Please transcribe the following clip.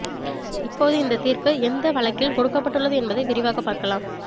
இப்போது இந்த தீர்ப்பு எந்த வழிக்கில் கொடுக்கப்பட்டுள்ளது என்பதை விரிவாக பார்க்கலாம்